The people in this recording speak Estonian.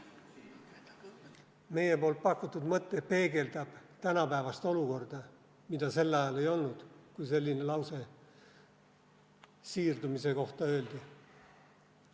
Meie pakutud mõte peegeldab tänapäevast olukorda, mida sel ajal ei olnud, kui selline lause siirdumise kohta öeldi.